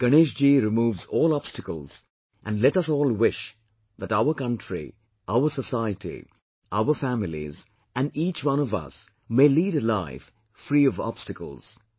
Ganesh ji removes all obstacles and let us all wish that our country, our society, our families, and each one of us may lead a life free of obstacles